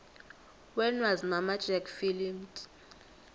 when was mamma jack filmed